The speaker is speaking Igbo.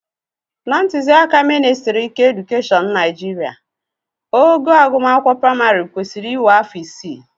Na ntụziaka ministrị keedukeshọn Naijiria, ogo akwụkwọ praịmarị kwesịrị iwe afọ isii